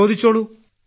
ചോദിച്ചോളൂ